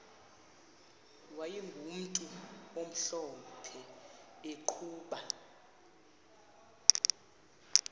wayegumntu omhlophe eqhuba